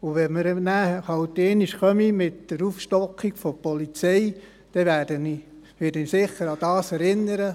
Wenn wir nachher halt einmal mit der Aufstockung der Polizei kommen, werde ich sicher daran erinnern.